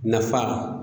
Nafa